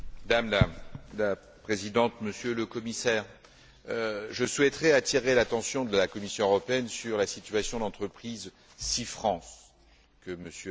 Madame la Présidente, Monsieur le Commissaire, je souhaiterais attirer l'attention de la Commission européenne sur la situation de l'entreprise SeaFrance que M.